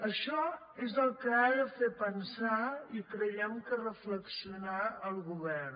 això és el que ha de fer pensar i creiem que reflexionar el govern